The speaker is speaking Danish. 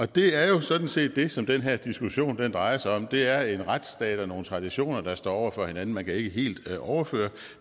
det er jo sådan set det som den her diskussion drejer sig om det er en retsstat og nogle traditioner der står over for hinanden man kan ikke et helt overføre